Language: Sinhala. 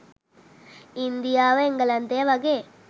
ඉන්දියාව එංගලන්තය වගේ